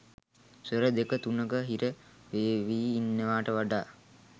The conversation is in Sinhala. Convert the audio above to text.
ස්වර දෙක තුනක හිර වේවි ඉන්නවට වඩා